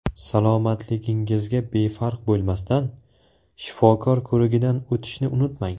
Salomatligingizga befarq bo‘lmasdan, shifokor ko‘rigidan o‘tishni unutmang.